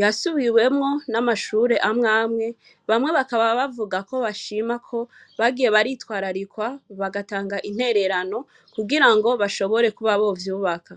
yasubiwemwo n'amashure amwe amwe. Bamwe bakaba bavuga ko bashima ko bagiye baritwararikwa, bagatanga intererano kugira ngo bashobore kuba bovyubaka.